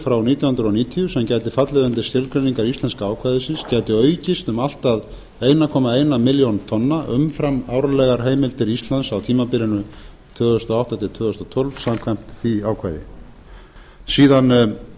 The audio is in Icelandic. frá nítján hundruð níutíu sem gæti fallið undir skilgreiningar íslenska ákvæðisins gæti aukist um allt að einn komma eina milljón tonna umfram árlegar heimildir íslands á tímabilinu tvö þúsund og átta tvö þúsund og tólf samkvæmt því ákvæði síðan